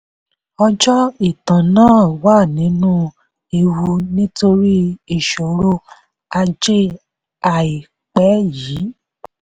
ọjọ́ ìtàn náà wà nínú ewu nítorí ìṣòro ajé àìpẹ́ yìí.